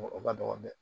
O ka dɔgɔ dɛ